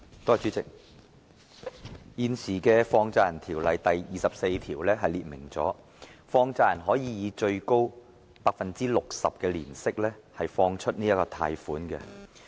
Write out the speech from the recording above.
代理主席，現時《放債人條例》第24條列明，放債人可以最高 60% 的年息貸出款項。